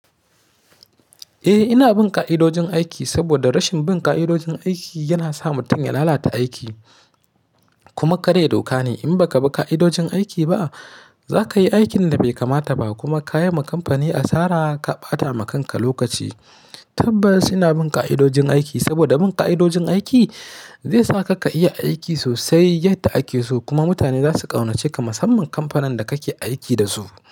Eh ina bin ka'idojin aiki saboda rashin bin ka'idojin aiki yana sa mutum ya lalata aiki. Kuma karya dokane in baka bi ka'idojin aiki ba, zakayi aikin da bai kamata ba kuma ka yi wa kamfani asara ka bata ma kanka lokaci. Tabbas ina bin ka'idojin aiki saboda bin ka'idojin aiki zai sa ka ka iya aiki sosai yadda ake so kuma mutane zasu ƙaunace ka. Musamman kamfanin da kake aiki da su.